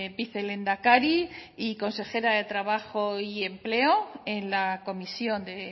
vicelehendakari y consejera de trabajo y empleo en la comisión de